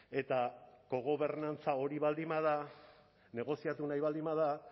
eta kogobernantza hori baldin bada negoziatu nahi baldin bada